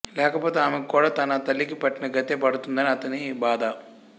లేకపోతే ఆమెకు కూడా తన తల్లికి పట్టిన గతే పడుతుందని అతని బాధ